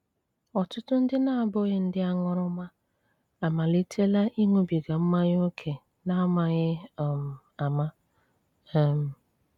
Ọ́tụ́tù ndị na-abúghí ndị áṅúrúmà ámálítélá íṅúbígá mmányá óké n'ámághí um ámá. um